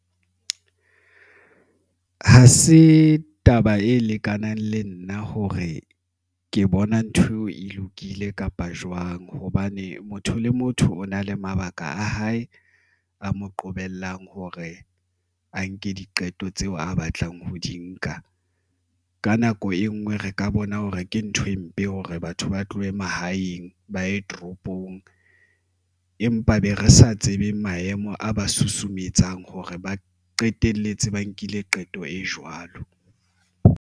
Ha se taba e lekanang le nna hore ke bona ntho eo e lokile kapa jwang, hobane motho le motho o na le mabaka a hae a mo qobellang hore a nke diqeto tseo a batlang ho di nka. Ka nako e nngwe re ka bona hore ke ntho e mpe hore batho ba tlohe mahaeng ba ye toropong empa be re sa tsebeng maemo a ba susumetsang hore ba qetelletse ba nkile qeto e jwalo.